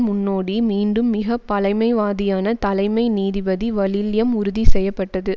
முன்னோடி மீண்டும் மிக பழமைவாதியான தலைமை நீதிபதி வலில்யம் உறுதி செய்ய பட்டது